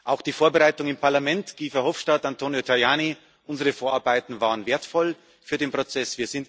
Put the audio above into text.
Auch die Vorbereitung im Parlament Guy Verhofstadt und Antonio Tajani unsere Vorarbeiten waren wertvoll für den Prozess.